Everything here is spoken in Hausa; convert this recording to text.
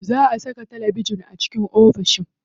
Za a saka talabijin a ofishin sa.